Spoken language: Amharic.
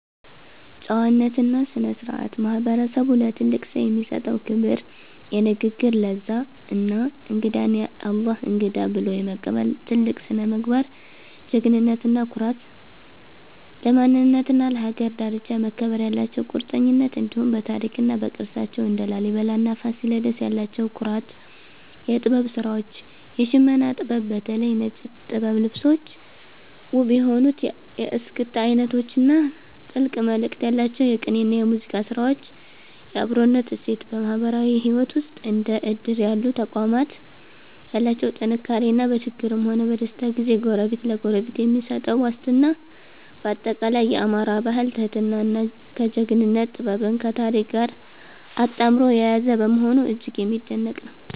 ጨዋነትና ስነ-ስርዓት፦ ማህበረሰቡ ለትልቅ ሰው የሚሰጠው ክብር፣ የንግግር ለዛ እና እንግዳን "የአላህ እንግዳ" ብሎ የመቀበል ጥልቅ ስነ-ምግባር። ጀግንነትና ኩራት፦ ለማንነትና ለሀገር ዳርቻ መከበር ያላቸው ቁርጠኝነት፣ እንዲሁም በታሪክና በቅርሳቸው (እንደ ላሊበላና ፋሲለደስ) ያላቸው ኩራት። የጥበብ ስራዎች፦ የሽመና ጥበብ (በተለይ ነጭ ጥበብ ልብሶች)፣ ውብ የሆኑት የእስክስታ አይነቶች እና ጥልቅ መልእክት ያላቸው የቅኔና የሙዚቃ ስራዎች። የአብሮነት እሴት፦ በማህበራዊ ህይወት ውስጥ እንደ እድር ያሉ ተቋማት ያላቸው ጥንካሬ እና በችግርም ሆነ በደስታ ጊዜ ጎረቤት ለጎረቤት የሚሰጠው ዋስትና። ባጠቃላይ፣ የአማራ ባህል ትህትናን ከጀግንነት፣ ጥበብን ከታሪክ ጋር አጣምሮ የያዘ በመሆኑ እጅግ የሚደነቅ ነው።